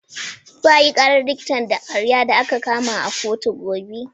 Za a yi ƙarar likitan ƙarya da aka kama a kotu gobe.